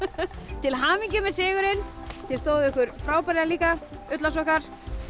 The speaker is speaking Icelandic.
til hamingju með sigurinn þið stóðuð ykkur frábærlega líka ullarsokkar